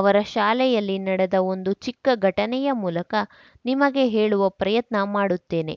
ಅವರ ಶಾಲೆಯಲ್ಲಿ ನಡೆದ ಒಂದು ಚಿಕ್ಕ ಘಟನೆಯ ಮೂಲಕ ನಿಮಗೆ ಹೇಳುವ ಪ್ರಯತ್ನ ಮಾಡುತ್ತೇನೆ